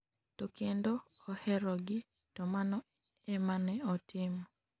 to kendo oherogi, to mano ema ne otimo